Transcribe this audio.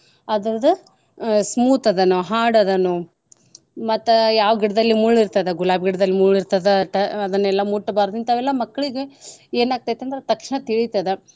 ಅದರ್ದು ಆಹ್ smooth ಅದನೋ hard ಅದನೋ ಮತ್ತ ಯಾವ್ ಗಿಡ್ದಲ್ಲಿ ಮುಳ್ ಇರ್ತದ ಗುಲಾಬಿ ಗಿಡ್ದಲ್ ಮುಳ್ಳಿರ್ತದ ಅಟ ಅದನೆಲ್ಲ ಮುಟ್ಬಾರ್ದು ಇಂತಾವೆಲ್ಲ ಮಕ್ಳ್ಗೆ ಏನ್ ಆಕ್ತೆತಂದ್ರ ತಕ್ಷಣ ತಿಳಿತದ.